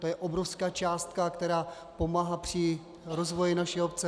To je obrovská částka, která pomáhá při rozvoji naší obce.